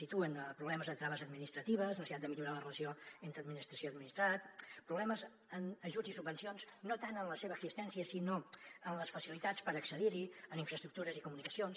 situen problemes de traves administratives necessitat de millorar la relació entre administració i administrat problemes en ajuts i subvencions no tant en la seva existència sinó en les facilitats per accedir hi en infraestructures i comunicacions